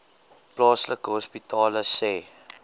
plaaslike hospitale sê